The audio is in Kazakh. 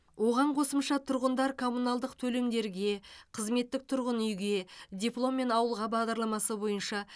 оған қосымша тұрғындар коммуналдық төлемдерге қызметтік тұрғын үйге дипломмен ауылға бағдарламасы бойынша